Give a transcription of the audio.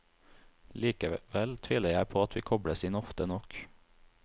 Likevel tviler jeg på at vi kobles inn ofte nok.